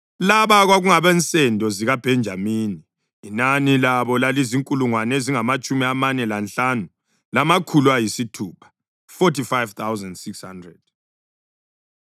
Laba kwakungabensendo zikaBhenjamini; inani labo lalizinkulungwane ezingamatshumi amane lanhlanu, lamakhulu ayisithupha (45,600).